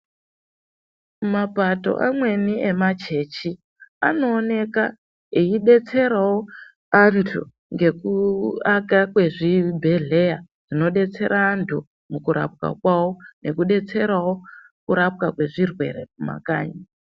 Mapato amweni emachechi, anooneka eyidetserawo antu ngekuaka kwezvibhedhleya zvinodetsera antu mukurapwa kwawo, nekudetserawo kurapwa kwezvirwere mumakanyi.